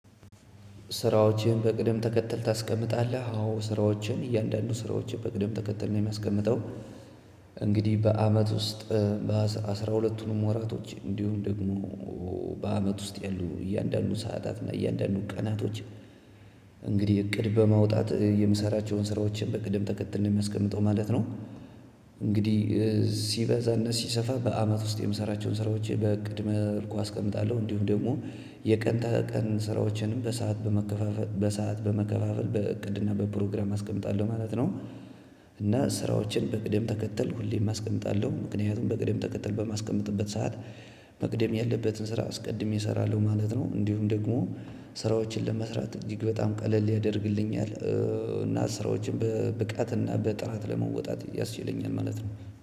ስራዎችን በቅደም ተከተል ታስቀምጣለህ? አዎ ስራዎችን እያንዳንዱ ስራዎችን በቅደም ተከተል የሚያስቀምጠው እንግዲህ በአመት ውስጥ በአስራ ሁለቱን ወራቶች እንዲሁም ደግሞ በአመት ውስጥ ያሉ እያንዳንዱ ሰዓታት እና እያንዳንዱ ቀናቶች እንግዲህ እቅድ በማውጣት የምሰራቸውን ስራዎችን በቅድም ተከትል ነው የማስቀምጠው ማለት ነው። እንግዲህ ሲበዛ እና ሲሰፋ በአመት ውስጥ የምሰራቸውን ስራዎች በቅድመ መልኩ አስቀምጣለሁ እንዲሁም ደግሞ የቀን ተቀን ስራዎችንም በሰአት በመከፋፈል በሰአት በመከፋፈል በእቅድና በፕሮግራም አስቀምጣለሁ ማለት ነው። እና ስራዎችን በቅደም ተከተል ሁሌም አስቀምጣለሁ ምክንያቱም በቅደም ተከተል በማስቀመጥበት ሰዓት መቅደም ያለበትን ስራ አስቀድሜ እሰራለሁ ማለት ነው እንዲሁም ደግሞ ስራዎችን ለመስራት እጅግ በጣም ቀለል ያደርግልኛል እና ስራዎችን በብቃትና በጥራት ለመወጣት ያስችለኛል ማለት ነው።